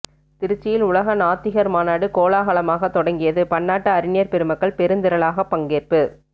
திருச்சியில் உலக நாத்திகர் மாநாடு கோலாகலமாக தொடங்கியது பன்னாட்டு அறிஞர் பெருமக்கள் பெருந்திரளாக பங்கேற்பு